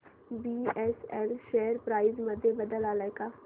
BSL share price मध्ये बदल आलाय का